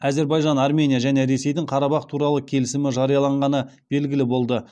әзербайжан армения және ресейдің қарабақ туралы келісімі жарияланғаны белгілі болды